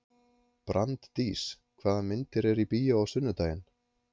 Branddís, hvaða myndir eru í bíó á sunnudaginn?